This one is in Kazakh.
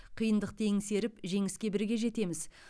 қиындықты еңсеріп жеңіске бірге жетеміз